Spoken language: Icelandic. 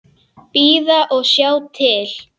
Bíða og sjá til.